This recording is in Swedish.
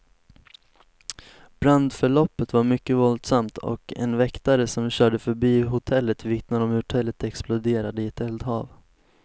Brandförloppet var mycket våldsamt, och en väktare som körde förbi hotellet vittnar om hur hotellet exploderade i ett eldhav.